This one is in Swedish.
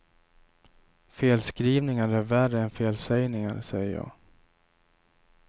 Felskrivningar är värre än felsägningar, säger jag.